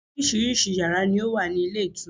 Orísìí yàrá ni ó wà ní ilé ìtura.